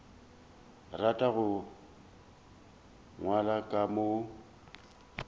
rata go nwela ka mo